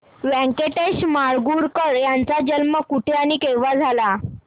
व्यंकटेश माडगूळकर यांचा जन्म कुठे आणि केव्हा झाला